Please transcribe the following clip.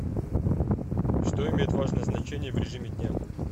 что имеет важное значение в режиме дня